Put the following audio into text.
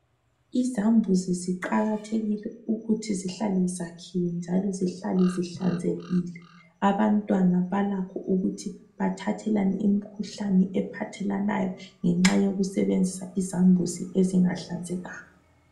Izambuzi ziqakathekile ukuthi zihlale zakhiwe njalo zihlale zihlanzekile. Abantwana balakho ukuthi bathathelane imikhuhlane ngenxa yokusebenzisa izambuzi ezingahlanzekanga.